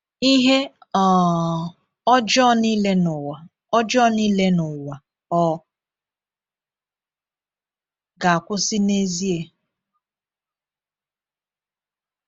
Ihe um ọjọọ niile n’ụwa ọjọọ niile n’ụwa ọ ga-akwụsị n’ezie?